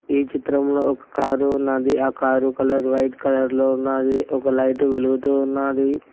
ఈ చిత్రంలో ఒక కారు ఉన్నాది ఆ కారు కలర్ వైట్ కలర్ లో ఉన్నాది ఒక లైట్ వెలుగుతూ ఉన్నాది.